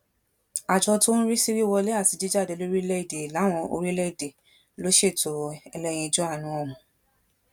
àjọ tó ń rí sí wíwọlé àti jíjáde lórílẹèdè láwọn orílẹèdè ló ṣètò ẹlẹyinjú àánú ọhún